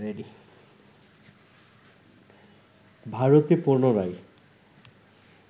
ভারতে পুনরায়